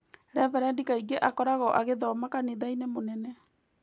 Reverendi kaingĩ akoragwo agĩthoma kanitha-inĩ mũnene